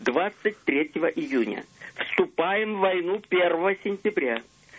двадцать третьего июня вступаем в войну первого сентября